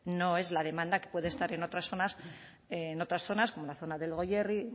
no es la demanda que puede estar en otras zonas en otras zonas como la zona del goierri